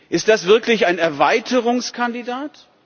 Ist das wirklich ein Erweiterungskandidat?